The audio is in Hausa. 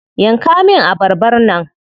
Yanka min abarbar nan.